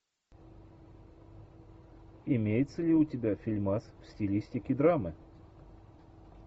имеется ли у тебя фильмас в стилистике драмы